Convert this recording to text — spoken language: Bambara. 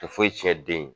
Tɛ foyi tiɲɛ den ye